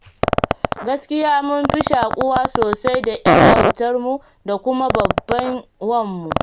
Gaskiya mun fi shaƙuwa sosai da 'yar autarmu da kuma babban wanmu.